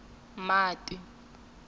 mati